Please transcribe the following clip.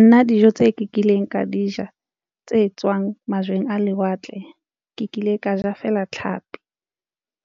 Nna dijo tseo ke kileng ka di ja tse tswang majweng a lewatle ke kile ka ja fela tlhapi